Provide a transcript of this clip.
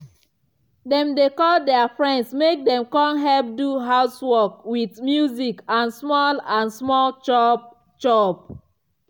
dem dey call dia friends mek dem come help do housework with music and small and small chop-chop.